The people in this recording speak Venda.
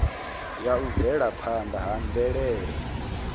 ya u bvelaphanda ha mvelele